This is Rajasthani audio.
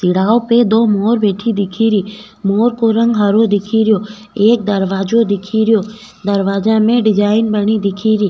तिराहो पे दो मोर बैठी दिखे री मोर को रंग हरो दिखे रियो एक दरवाजो दिखे रियो दरवाजा में डिजाइन बनी दिखे री।